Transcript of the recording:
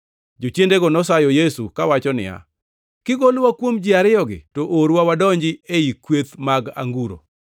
Jochiendego nosayo Yesu kawacho niya, “Kigolowa kuom ji ariyogi to orwa wadonji ei kweth mag anguro.”